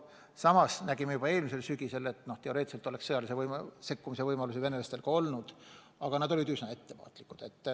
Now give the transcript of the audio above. Samas me nägime eelmisel sügisel, et teoreetiliselt oli sõjalise sekkumise võimalusi venelastel olemas, aga nad olid üsna ettevaatlikud.